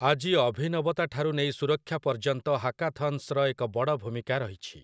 ଆଜି ଅଭିନବତା ଠାରୁ ନେଇ ସୁରକ୍ଷା ପର୍ଯ୍ୟନ୍ତ ହାକାଥନ୍‌ସର ଏକ ବଡ଼ ଭୂମିକା ରହିଛି ।